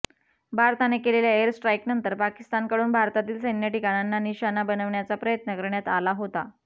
भारताने केलेल्या एयर स्ट्राईकनंतर पाकिस्तानकडून भारतातील सैन्य ठिकाणांना निशाणा बनवण्याचा प्रयत्न करण्यात आला होता